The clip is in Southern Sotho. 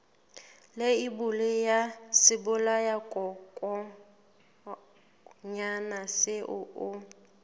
leibole ya sebolayakokwanyana seo o